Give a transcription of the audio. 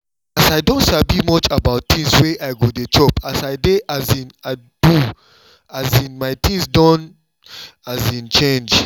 as i don sabi much about things wey i go dey chop as i dey um do um my things don change